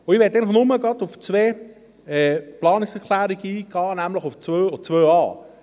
Ich möchte jetzt nur auf zwei Planungserklärungen eingehen, nämlich auf die 2 und die 2.a.